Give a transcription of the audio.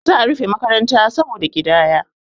za a rufe makaranta saboda ƙidaya